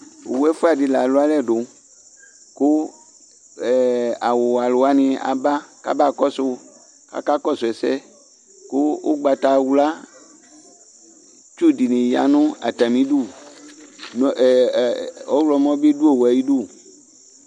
owʋ ɛfʋa di la lʋ alɛ du ku awʋ wɛ alʋwani aba kaba kɔsʋ ka aka kɔsʋ ɛsɛ kʋ ʋgbata wʋla tsu dini ya nu atanidu nu ɛɛ ɔwʋlɔ bi dʋ owʋɛ ayidu